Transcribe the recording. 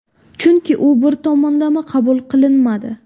Chunki u bir tomonlama qabul qilinmadi.